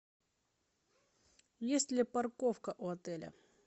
есть ли парковка у отеля